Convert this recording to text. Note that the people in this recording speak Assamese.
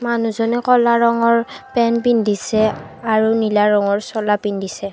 মানুহজনে ক'লা ৰঙৰ পেণ্ট পিন্ধিছে আৰু নীলা ৰঙৰ চোলা পিন্ধিছে।